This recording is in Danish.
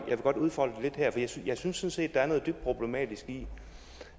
udfolde den lidt her jeg synes sådan set der er noget dybt problematisk i